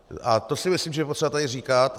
A to si myslím, že je potřeba tady říkat.